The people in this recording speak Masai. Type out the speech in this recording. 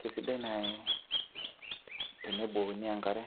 kisidai naaji tenibukokini enkare